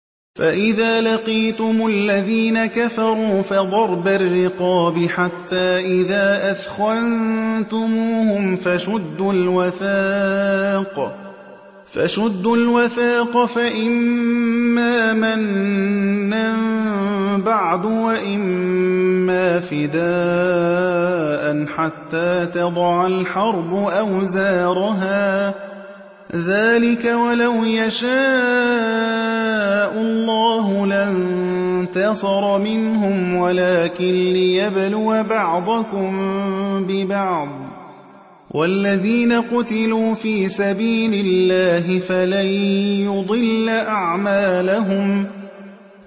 فَإِذَا لَقِيتُمُ الَّذِينَ كَفَرُوا فَضَرْبَ الرِّقَابِ حَتَّىٰ إِذَا أَثْخَنتُمُوهُمْ فَشُدُّوا الْوَثَاقَ فَإِمَّا مَنًّا بَعْدُ وَإِمَّا فِدَاءً حَتَّىٰ تَضَعَ الْحَرْبُ أَوْزَارَهَا ۚ ذَٰلِكَ وَلَوْ يَشَاءُ اللَّهُ لَانتَصَرَ مِنْهُمْ وَلَٰكِن لِّيَبْلُوَ بَعْضَكُم بِبَعْضٍ ۗ وَالَّذِينَ قُتِلُوا فِي سَبِيلِ اللَّهِ فَلَن يُضِلَّ أَعْمَالَهُمْ